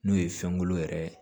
N'o ye fɛnkolo yɛrɛ ye